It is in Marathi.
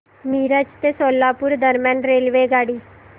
मिरज ते सोलापूर दरम्यान रेल्वेगाडी